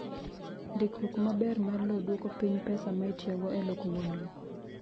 Ndikruok maber mar lowo dwoko piny pesa ma itiyogo e loko wuon lowo.